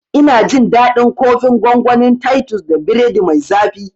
Ina jin daɗin kofin gongonin titus da biredi mai zafi